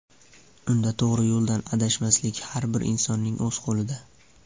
Unda to‘g‘ri yo‘ldan adashmaslik har bir insonning o‘z qo‘lida.